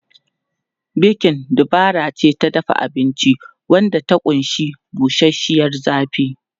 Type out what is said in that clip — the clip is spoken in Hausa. Bekin dabara ce ta dafa abinci wadda ta ƙunshi bushashiyar zafi.